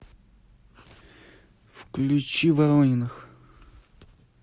включи ворониных